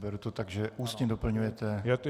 Beru to tak, že ústně doplňujete -